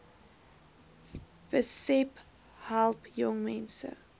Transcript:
besp help jongmense